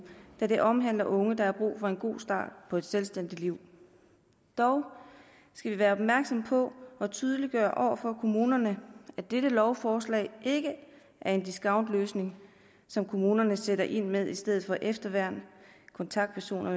da det omhandler unge der har brug for en god start på et selvstændigt liv dog skal vi være opmærksomme på at tydeliggøre over for kommunerne at dette lovforslag ikke er en discountløsning som kommunerne sætter ind med i stedet for efterværn kontaktpersoner